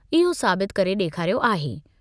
इहो साबित करे ॾेखारियो आहे।